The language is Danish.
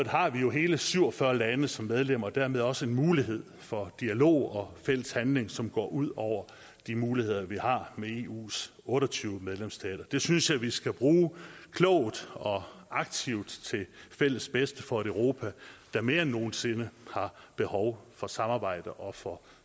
har vi jo hele syv og fyrre lande som medlemmer og dermed også en mulighed for dialog og fælles handling som går ud over de muligheder vi har med eus otte og tyve medlemsstater det synes jeg vi skal bruge klogt og aktivt til fælles bedste for et europa der mere end nogen sinde har behov for samarbejde og for